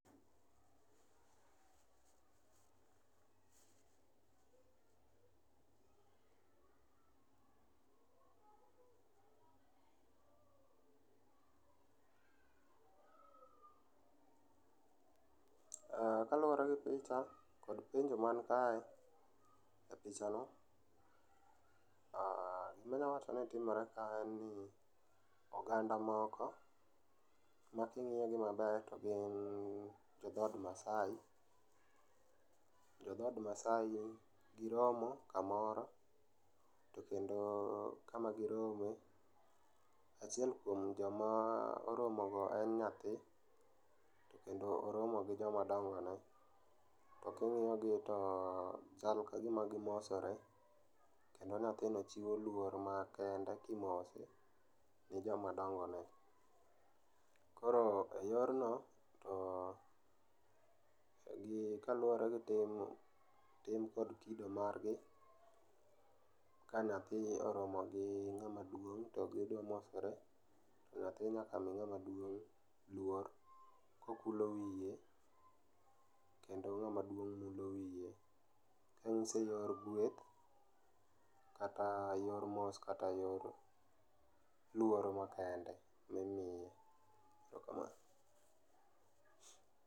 Kaluore gi picha kod penjo man kae, e picha no, aah, gima anyalo wacho ni timore ka en ni oganda moko makingiyo gi maber to gin jo dhot Maasai, jo dhot Maasai, giromo kamoro to kendo kama girome, achiel kuom joma oromo go en nyathi kendo oromo gi joma dongo ne ,to kingiyo gi to chal kagima gimosore kendo nyathini chiwo luor ma kende kimose gi joma dongo negi. Koro e yorno to gi kaluore gi tim, tim kod kido margi, ka nyathi oromo gi ng'ama duong to gidhi mosore, nyathi nyaka mi ng'ama duong' luor kokulo wiye kendo ng'ama duong' mulo wiye. Onyiso yor gweth kata yor mos kata yor luoro ma kende ma imiyo joma kamagi. Erokamano